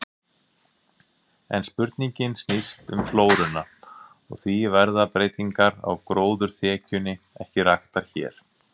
En spurningin snýst um flóruna, og því verða breytingar á gróðurþekjunni ekki raktar hér.